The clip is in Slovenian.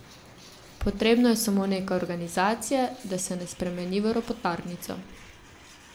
Potrebno je samo nekaj organizacije, da se ne spremeni v ropotarnico.